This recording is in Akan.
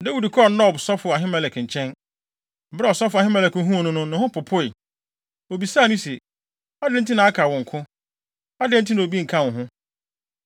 Dawid kɔɔ Nob sɔfo Ahimelek nkyɛn. Bere a ɔsɔfo Ahimelek huu no no, ne ho popoe. Obisaa no se, “Adɛn nti na aka wo nko? Adɛn nti na obi nka wo ho?”